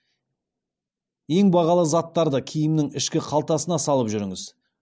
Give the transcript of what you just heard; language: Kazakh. ең бағалы заттарды киімнің ішкі қалтасына салып жүріңіз